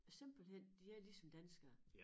Simpelthen de er ligesom danskere